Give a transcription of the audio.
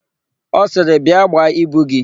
Ọ sịrị, "bịa gbaa ibu gị"!